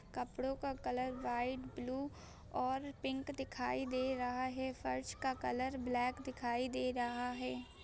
कपड़ो का colour white blue और पिक दिखाई दे रहा है फर्श का कलर ब्लैक दिखाई दे रहा है।